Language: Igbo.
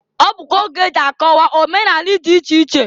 Ọ bụkwa oge eji akọwa omenani dị iche iche.